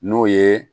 N'o ye